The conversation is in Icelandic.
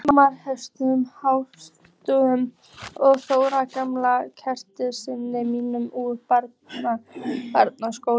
Hauks heitins húsamálara og Þórð, gamla kammeratinn minn úr barnaskóla.